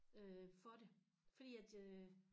Øh for det fordi at øh